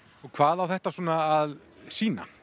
hvað á þetta svona að sýna